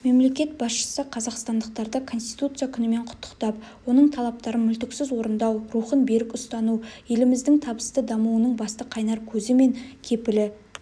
мемлекет басшысы қазақстандықтарды конституция күнімен құттықтап оның талаптарын мүлтіксіз орындау рухын берік ұстану еліміздің табысты дамуының басты қайнар көзі мен кепілі